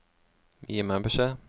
Gi meg beskjed